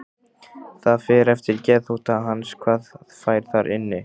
Það fer eftir geðþótta hans hvað fær þar inni.